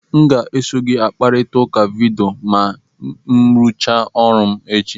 M ga-eso gị kparịta ụka vidiyo ma m rụchaa ọrụ echi.